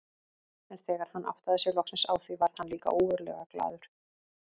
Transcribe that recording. En þegar hann áttaði sig loksins á því varð hann líka ógurlega glaður.